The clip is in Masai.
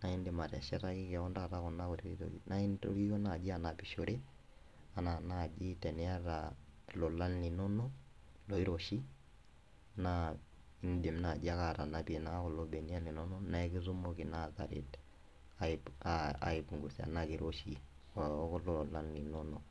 naindim ateshetaki koon taata kuna kuti naintorio naaji anapishore anaa naaji teniyata ilolan linono loiroshi naa indim naaji ake atanapie naa kulo beniak linonok naa ekitumoki naa taret aipungusa ena kiroshi okulo olan linonok.